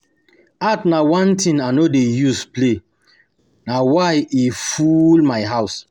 Art na one thing I no dey use play na why e full my house